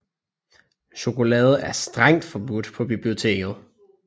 Chokolade er strengt forbudt på biblioteket